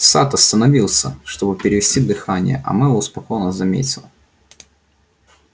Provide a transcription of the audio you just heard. сатт остановился чтобы перевести дыхание а мэллоу спокойно заметил